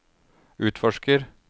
utforsker